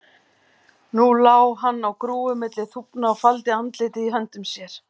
Nú lá hann á grúfu milli þúfna og faldi andlitið í höndum sér.